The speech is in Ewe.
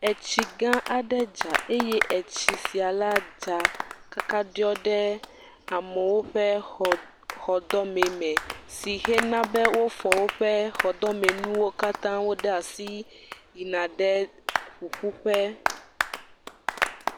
Etsigã aɖe dza eye etsi sia la dza kaka ɖiɔ ɖe amewo ƒe xɔ, xɔdɔme me. Si he na be wofɔ woƒe xɔdɔmenuwo katãwo ɖe asi yina ɖe ƒuƒuƒe.